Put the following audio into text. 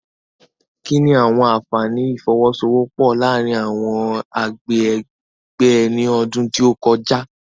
Kí ni àwọn àfààní ìfọwọ́sowọ́pọ̀ láàárín àwọn agbègbè ní ọdún tó kọjá?